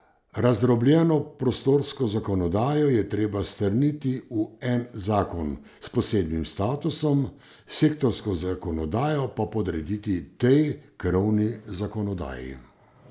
Razdrobljeno prostorsko zakonodajo je treba strniti v en zakon s posebnim statusom, sektorsko zakonodajo pa podrediti tej krovni zakonodaji.